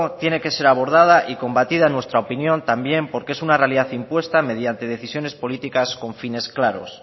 tiene que ser abordada y combatida en nuestra opinión también porque es una realidad impuesta mediante decisiones políticas con fines claros